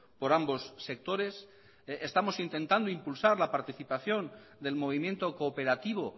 por ambos sectores estamos intentando impulsar la participación del movimiento cooperativo